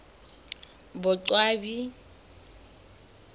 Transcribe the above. boqwabi